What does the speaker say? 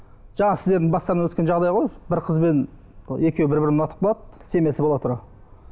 жаңа сіздердің бастарынан өткен жағдай ғой бір қызбен екеуі бір бірін ұнатып қалады семьясы бола тұра